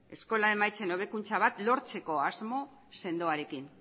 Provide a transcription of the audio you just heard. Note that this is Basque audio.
eskola emaitzen hobekuntza bat lortzeko asmo sendoarekin